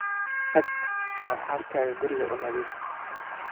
Tag oo xaaskaga guriga uu nadifii